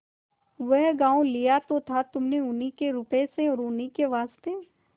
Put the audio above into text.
वह गॉँव लिया तो था तुमने उन्हीं के रुपये से और उन्हीं के वास्ते